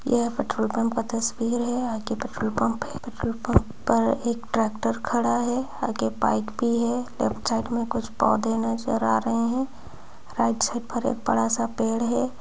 यह petrol pump का तस्वीर है आगे पेट्रोल पंप है पेट्रोल पंप पर एक ट्रैक्टर खड़ा है आगे बाइक भी है लेफ्ट साइड में कुछ पौधे नज़र आ रहे है राइट साइड पर एक बड़ा सा पेड़ है।